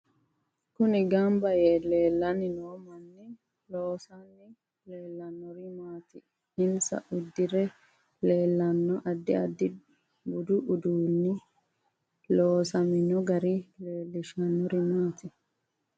Kunni ganbba yee leelanni noo manni loosani leelanori maati insa uddire leelanno addi addi budu uduuni loosamino gari leelishanori maati